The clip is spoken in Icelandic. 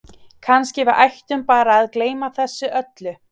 Kannski við ættum bara að gleyma þessu öllu